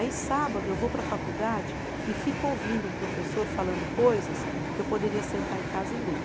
Aí, sábado, eu vou para a faculdade e fico ouvindo um professor falando coisas que eu poderia sentar em casa e ler.